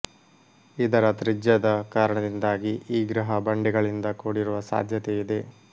ಇದರ ತ್ರಿಜ್ಯದ ಕಾರಣದಿಂದಾಗಿ ಈ ಗ್ರಹ ಬಂಡೆಗಳಿಂದ ಕೂಡಿರುವ ಸಾಧ್ಯತೆಯಿದೆ